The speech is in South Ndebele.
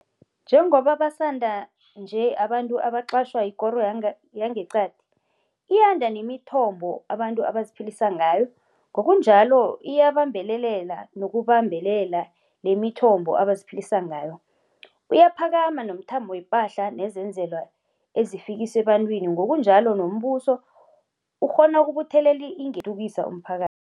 Njengoba basanda nje abantu abaqatjhwa yikoro yangeqadi, iyanda nemithombo abantu abaziphilisa ngayo, ngokunjalo iyabambelela nokubambelela lemithombo abaziphilisa ngayo. Uyaphakama nomthamo wepahla nezenzelwa ezifikiswa ebantwini, ngokunjalo nombuso ukghona ukubuthelela ingeniso enzunzwana yokuthuthukisa umphaka